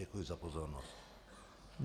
Děkuji za pozornost.